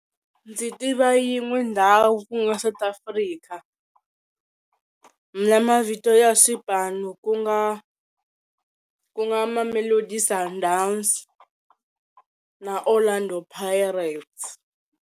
Ndzi tiva yin'we ndhawu ku nga South Africa na mavito ya swipano ku nga, ku nga Mamelodi Sundowns na Orlando Pirates.